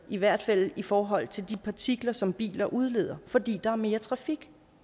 i hvert fald i forhold til de partikler som biler udleder fordi der er mere trafik